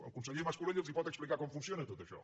el conseller mas colell els pot explicar com funciona tot això